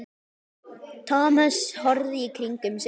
Thomas horfði í kringum sig.